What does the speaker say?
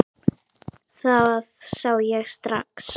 Það sá ég strax.